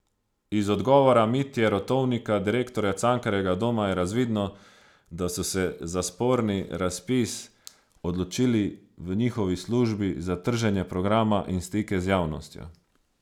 Iz odgovora Mitje Rotovnika, direktorja Cankarjevega doma, je razvidno, da so se za sporni razpis odločili v njihovi službi za trženje programa in stike z javnostjo.